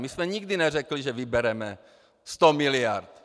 My jsme nikdy neřekli, že vybereme 100 mld.